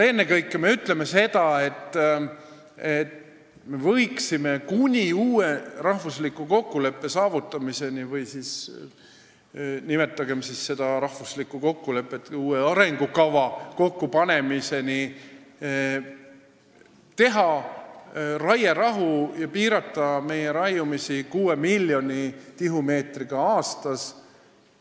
Ennekõike me ütleme seal seda, et me võiksime kuni uue, üldrahvaliku kokkuleppe saavutamiseni – või siis nimetagem seda üldrahvalikuks kokkuleppeks kuni uue arengukava kokkupanemiseni – teha raierahu ja piirduda metsa raiumisel kuue miljoni tihumeetriga aastas.